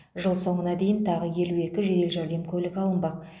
жыл соңына дейін тағы елу екі жедел жәрдем көлігі алынбақ